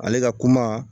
Ale ka kuma